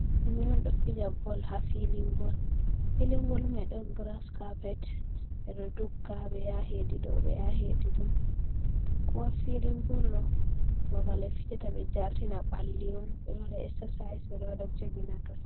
Himɓe un ɗo fija bol ha filin bol, filin bol mai ɗon graz kapet ɓe ɗo dogga ɓe yaha hedi ɗo, ɓe yaha hedi ɗo. ko ha filin bol ɗo, babal ɓe fijata ɓe jartina ɓalli un, be ɗo waɗa exercise, ɓe ɗo wada jogin ha ton.